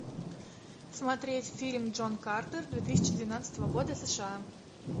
смотреть фильм джон картер две тысячи двенадцатого года сша